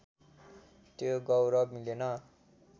त्यो गौरव मिलेन